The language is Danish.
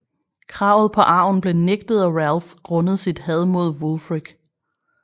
Kravet på arven bliver nægtet af Ralph grundet sit had mod Wulfric